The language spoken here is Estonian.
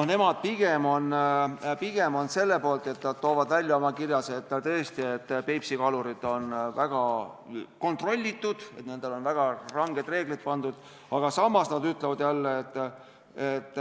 Nemad toovad oma kirjas välja, et Peipsi kalurid on väga kontrollitud, nendele on väga ranged reeglid peale pandud, aga samas nad ütlevad jälle, et